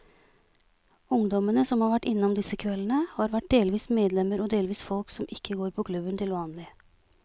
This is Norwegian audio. Ungdommene som har vært innom disse kveldene, har vært delvis medlemmer og delvis folk som ikke går på klubben til vanlig.